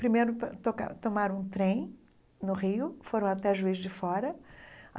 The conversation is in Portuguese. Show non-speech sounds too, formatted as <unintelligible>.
Primeiro, <unintelligible> toca tomaram um trem no rio, foram até Juiz de Fora.